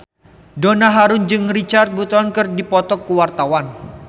Donna Harun jeung Richard Burton keur dipoto ku wartawan